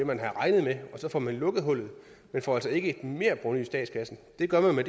man havde regnet med så får man lukket hullet man får altså ikke et merprovenu i statskassen det gør man med